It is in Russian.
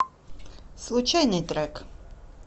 случайный трек